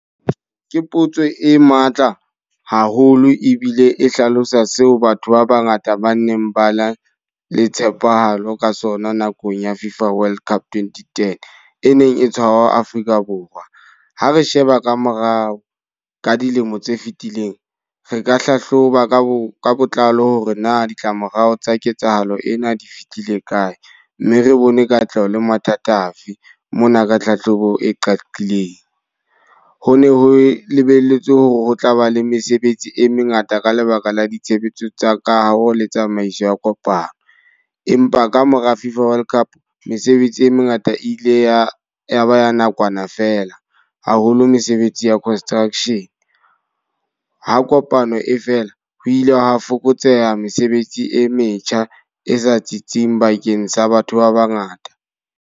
Ke potso e matla haholo ebile e hlalosa seo batho ba ba ngata ba neng ba nang le tshepahalo ka sona nakong ya Fifa World Cup, twenty-ten, e neng e tshwarwa Afrika Borwa. Ha re sheba ka morao ka dilemo tse fitileng, re ka hlahloba ka bo ka botlalo hore na ditlamorao tsa ketsahalo ena di fitile kae. Mme re bone katleho le mathata afe, mona ka tlhahlobo e qadileng. Ho ne ho lebelletswe ho tlaba le mesebetsi e mengata ka lebaka la ditshebetso tsa ka ha le tsamaiso ya kopano. Empa ka mora Fifa World Cup mesebetsi e mengata e ile ya ya ba ya ha nakwana fela. Haholo mesebetsi ya construction. Ha kopano e fela, ho ile hwa fokotseha mesebetsi e metjha e sa tsitsing bakeng sa batho ba ba ngata.